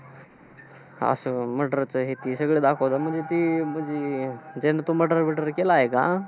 असं murder चं हे ते सगळं दाखवतात, म्हणजे ते अं म्हणजे त्याने तो murder वर्डर केला आहे का?